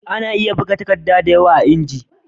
Ana iya buga takadda da yawa a inji